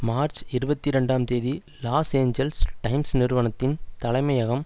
March இருபத்தி இரண்டாம் தேதி லாஸ் ஏஞ்சல்ஸ் டைம்ஸ் நிறுவனத்தின் தலைமையகம்